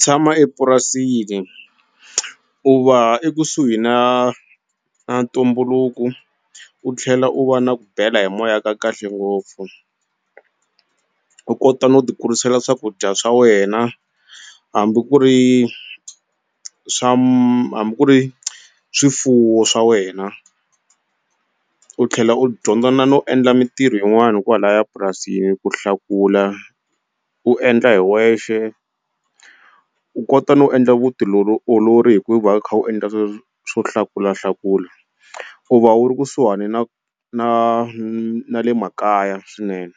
Tshama epurasini u va ekusuhi na na ntumbuluku u tlhela u va na ku bela hi moya ka kahle ngopfu u kota no ti kurisela swakudya swa wena hambi ku ri swa hambi ku ri swifuwo swa wena u tlhela u dyondza na no endla mintirho yin'wani hikwalaya purasini ku hlakula u endla hi wexe u kota no endla olori hi ku va u kha u endla swo hlakula hlakula u va u ri kusuhani na na na le makaya swinene